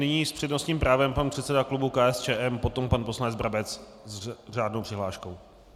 Nyní s přednostním právem pan předseda klubu KSČM, potom pan poslanec Brabec s řádnou přihláškou.